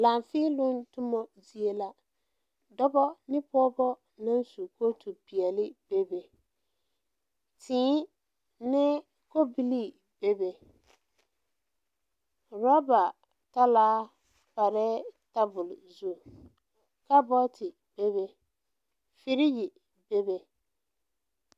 Laafēēloŋ tommo zie la dɔbɔ ne pɔɔbɔ naŋ su kootu peɛle bebe tēē ne kobilii bebe rɔba talaa parɛɛ tabole zu kabɔɔte bebe firige bebe.